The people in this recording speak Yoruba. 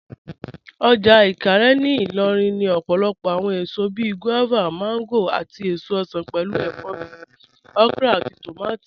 Ọjà Ìkàárẹ̀ ní Ìlòrìn ní òpòlòpò awọn èsò bíí guavas, mangoes, àtí èsò osan, pẹ̀lú èfọ̀ bíí okra àtí tómátí.